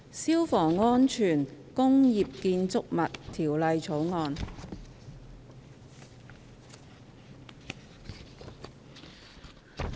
《消防安全條例草案》。